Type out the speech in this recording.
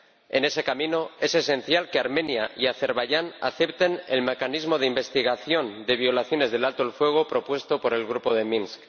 En ese camino, es esencial que Armenia y Azerbaiyán acepten el mecanismo de investigación de violaciones del alto el fuego propuesto por el Grupo de Minsk.